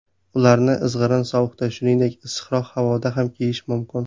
Ularni izg‘irin sovuqda, shuningdek, issiqroq havoda ham kiyish mumkin.